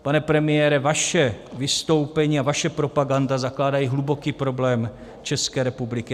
Pane premiére, vaše vystoupení a vaše propaganda zakládají hluboký problém České republiky.